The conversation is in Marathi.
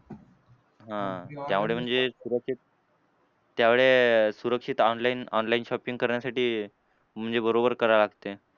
हां त्यामुळे म्हणजे सुरक्षित त्यामुळे सुरक्षित online online shopping करण्यासाठी म्हणजे बरोबर करायला लागते.